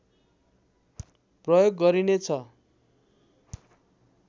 प्रयोग गरिनेछ